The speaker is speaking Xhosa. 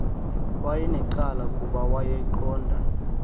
wayenexhala kuba wayeqonda